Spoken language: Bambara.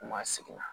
U ma segin